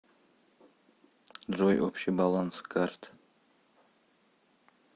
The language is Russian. джой общий баланс карт